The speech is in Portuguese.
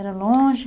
Era longe?